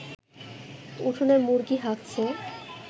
উঠোনে মুরগি হাগছে